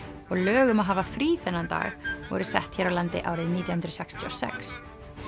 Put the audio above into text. og lög um að hafa frí þennan dag voru sett hér á landi árið nítján hundruð sextíu og sex